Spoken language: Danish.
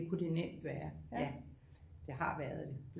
Det kunne det nemt være ja jeg har været det